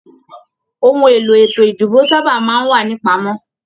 Òhun èlò ètò ìdìbò sábà máa n wà nipamọ.